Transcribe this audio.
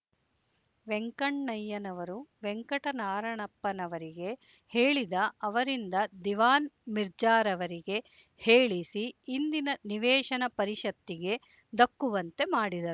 ವೆಂಕಣ್ಣಯ್ಯನವರು ವೆಂಕಟನಾರಣಪ್ಪನವರಿಗೆ ಹೇಳಿ ಅವರಿಂದ ದಿವಾನ್ ಮಿರ್ಜಾರವರಿಗೆ ಹೇಳಿಸಿ ಇಂದಿನ ನಿವೇಶನ ಪರಿಷತ್ತಿಗೆ ದಕ್ಕುವಂತೆ ಮಾಡಿದರು